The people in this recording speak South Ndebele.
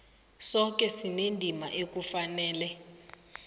soke sinendima ekufanele